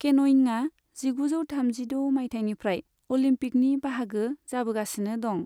केन'यिङा जिगुजौ थामजिद' मायथाइनिफ्राय अलम्पिकनि बाहागो जाबोगासिनो दं।